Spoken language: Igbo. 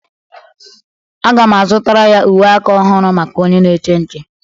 Aga m azụtara ya uwe aka ọhụrụ maka onye na-eche nche.